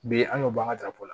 Bi an y'o bɔ an ka darafo la